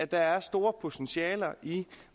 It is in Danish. der er store potentialer i